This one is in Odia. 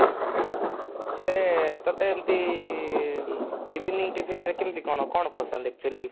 ହେଲେ ତତେ ଏମିତି evening tiffin ରେ କେମିତି କଣ କଣ ପସନ୍ଦ actually?